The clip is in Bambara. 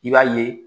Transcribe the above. I b'a ye